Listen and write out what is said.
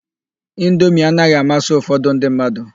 Indomi anaghị amasị ụfọdụ ndị mmadụ..